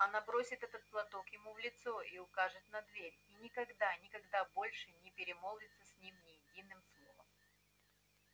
она бросит этот платок ему в лицо и укажет на дверь и никогда никогда больше не перемолвится с ним ни единым словом